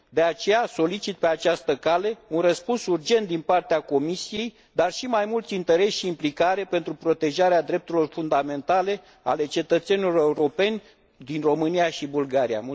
De aceea, solicit pe această cale, un răspuns urgent din partea Comisiei, dar și mai mult interes și implicare pentru protejarea drepturilor fundamentale ale cetățenilor europeni din România și Bulgaria.